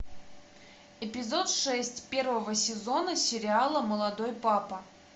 эпизод шесть первого сезона сериала молодой папа